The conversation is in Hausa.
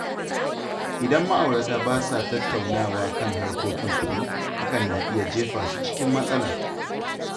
Idan ma’aurata ba sa tattaunawa kan harkokin kuɗi, hakan na iya jefa su cikin matsala.